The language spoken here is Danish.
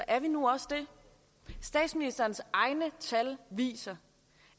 er vi nu også det statsministerens egne tal viser